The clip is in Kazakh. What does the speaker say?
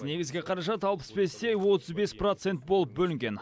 негізгі қаражат алпыс бес те отыз бес процент болып бөлінген